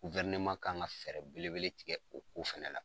kan ka fɛɛrɛ belebele tigɛ o ko fɛnɛ la.